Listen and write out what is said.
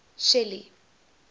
shelly